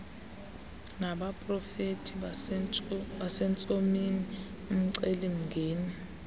nabaprofeti basentsomini umcelimngeni